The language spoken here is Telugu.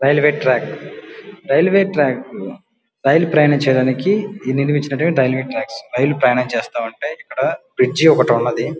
రైల్వే ట్రాక్ రైల్వే ట్రాక్స్ లో రైలు ప్రయాణించడానికి నిర్మించినటివే రైల్వే ట్రాక్స్ రైలు ప్రయాణం చేస్తుంటాయ్ ఇక్కడ బ్రిడ్జ్ ఒకటి ఉన్నది --